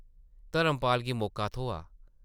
धर्मपाल गी मौका थ्होआ ।